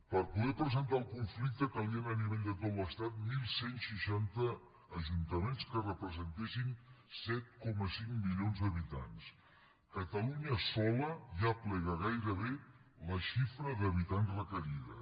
per poder presentar el conflicte calien a nivell de tot l’estat onze seixanta ajuntaments que representessin set coma cinc milions d’habitants catalunya sola ja aplega gairebé la xifra d’habitants requerida